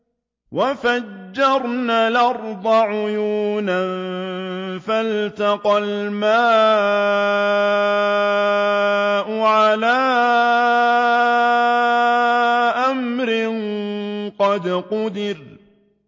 وَفَجَّرْنَا الْأَرْضَ عُيُونًا فَالْتَقَى الْمَاءُ عَلَىٰ أَمْرٍ قَدْ قُدِرَ